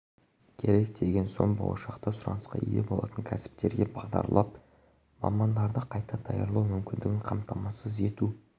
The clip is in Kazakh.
керек деген соң болашақта сұранысқа ие болатын кәсіптерге бағдарлап мамандарды қайта даярлау мүмкіндігін қамтамасыз ету